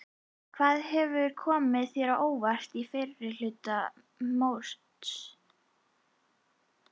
Hvað hefur komið þér á óvart í fyrri hluta móts?